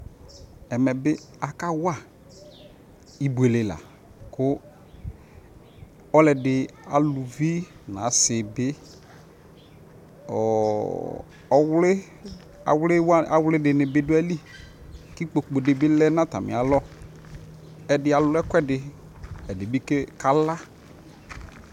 Ɛmɛbi akawa ibuele la kʋ ɔlʋɔdi alʋvi nʋ asibi ɔɔ ɔwli ɔwliwani ɔwlidi bi du ayʋ lι kʋ ikpoku di bi lɛ nʋ atami alɔ Ɛdi alʋ ɛkuɛdi ɛdi bi ke kala